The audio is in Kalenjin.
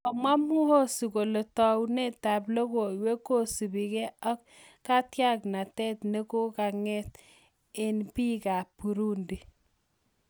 Komwa Muhozi kole taunetap logoiwek kosupi ge ak katiaknatet ne kokakong'et engbiik ap Burundi.